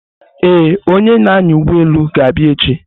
Ee, onye na-anya ụgbọelu ga-abịa echi.